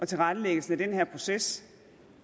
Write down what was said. tilrettelæggelsen af den her proces